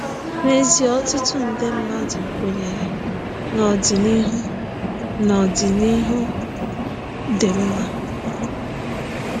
N’ezie, ọtụtụ nde mmadụ kwenyere na ọdịnihu na ọdịnihu dị mma.